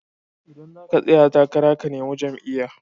Idan zaka tsaya takara ka nemi jam'iya